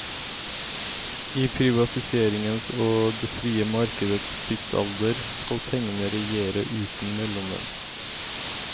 I privatiseringens og det frie markedets tidsalder skal pengene regjere uten mellommenn.